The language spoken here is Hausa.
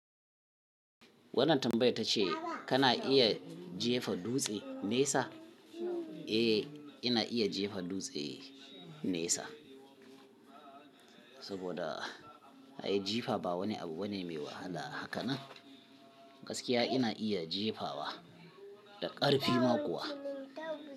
Wannan tambayar tace kana iya jefa dutse nesa? Eh, ina iya jefa dutse nesa saboda ai jifa ba wani abu bane mai wahala. Hakanan gaskiya ina iya jefawa da ƙarfi ma kuwa.